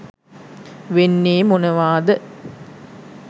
වෙන්නේ මොනවාද